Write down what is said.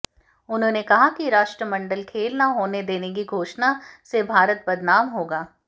उन्होंने कहा कि राष्ट्रमंडल खेल न होने देने की घोषणा से भारत बदनाम होगा